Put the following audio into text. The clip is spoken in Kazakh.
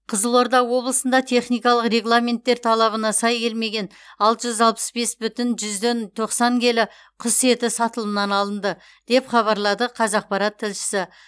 қызылорда облысында техникалық регламенттер талабына сай келмеген алты жүз алпыс бес бүтін жүзден тоқсан келі құс еті сатылымнан алынды деп хабарлайды қазақпарат тілшісі